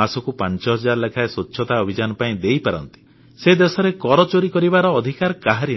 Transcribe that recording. ମାସକୁ 5 ହଜାର ଲେଖାଏଁ ସ୍ୱଚ୍ଛତା ଅଭିଯାନ ପାଇଁ ଦେଇପାରନ୍ତି ସେ ଦେଶରେ କର ଚୋରି କରିବାର ଅଧିକାର କାହାରି ନାହିଁ